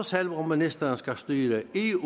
selv om ministeren skal styre eu